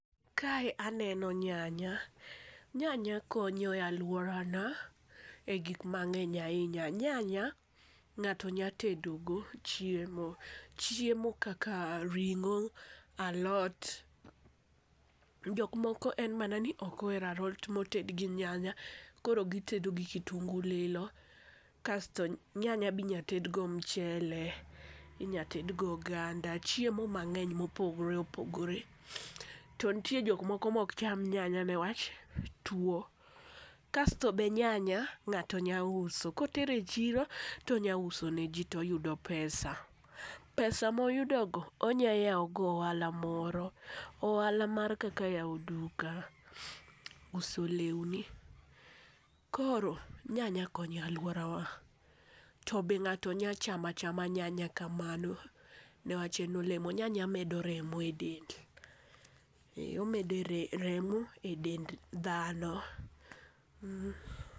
Kae aneno nyanya, nyanya konyo e aluorana e gik mang'eny ahinya. Nyanya ng'ato nya tedo go chiemo. Chiemo kaka ring'o, alot. Jok moko en mana ni ok ohero alot moted gi nyanya koro gitedo gi kitungu lilo kasto nyanya binya ted go mchele, inya tedgo oganda chiemo mang'eny mopogore opogore. To ntie jok moko mok cham nyanya newach tuo kasto be nyanya ng'ato nya uso kotere chiro tonya uso ne jii to yudo pesa pesa moyudo go onya yawo go ohala moro ohala moro kaka mar yawo duka, uso lewni. Koro nyanya konyo e aluora wa to be ng'ato nya chama chama nyanya kamano newach en olemo nyanya medo remo e del omedo remo e dend dhano .